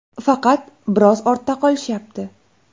Faqat biroz ortda qolishyapti.